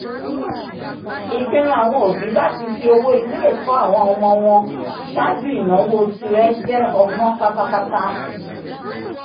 ìpinnu àwọn òbí láti fi owó ilé-ẹ̀kọ́ àwọn ọmọ wọn ṣáájú ináwó tirẹ jẹ́ ọgbọ́n pátápátá